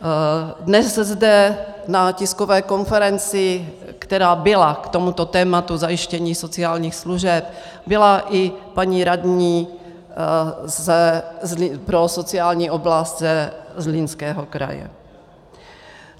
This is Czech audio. Dnes zde na tiskové konferenci, která byla k tomuto tématu zajištění sociálních služeb, byla i paní radní pro sociální oblast ze Zlínského kraje.